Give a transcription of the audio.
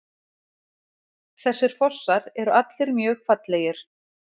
Þessir fossar eru allir mjög fallegir.